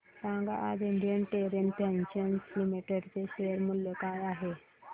सांगा आज Indian Terrain Fashions Limited चे शेअर मूल्य काय आहे